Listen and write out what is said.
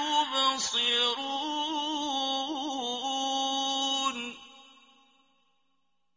يُبْصِرُونَ